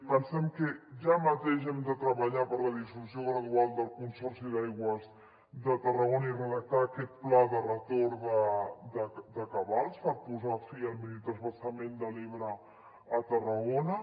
pensem que ja mateix hem de treballar per la dissolució gradual del consorci d’aigües de tarragona i redactar aquest pla de retorn de cabals per posar fi al minitransvasament de l’ebre a tarragona